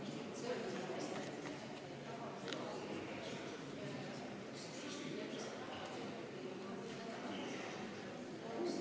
Hääletustulemused Ettepanekut toetas 32 rahvasaadikut, vastu oli 8, erapooletuid ei olnud.